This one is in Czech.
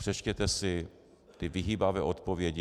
Přečtěte si ty vyhýbavé odpovědi.